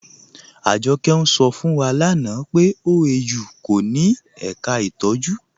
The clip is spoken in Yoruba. Ajọkẹ̀ ń ṣọ̀ fún wa lánà pé OAU kò ní èká ìtọjú ntọ̀jú.